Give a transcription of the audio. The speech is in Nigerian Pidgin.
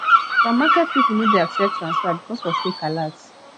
some market pipo no de accept transfer because of fake alerts